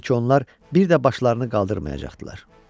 Elə bil ki, onlar bir də başlarını qaldırmayacaqdılar.